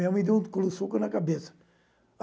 Minha mãe deu um soco na cabeça.